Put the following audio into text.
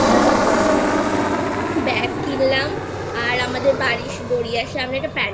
একটাBag কিনলাম আর আমাদের বাড়ির গড়িয়ার সামনে একটা Pantaloons এর